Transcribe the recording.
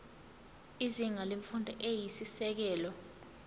izinga lemfundo eyisisekelo